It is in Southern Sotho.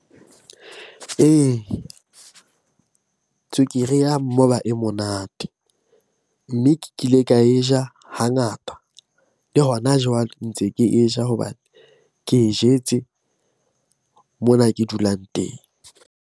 Ee, tswekere ya moba e monate. Mme ke kile ka e ja hangata le hona jwale ntse ke e ja hobane ke e jetse mona ke dulang teng.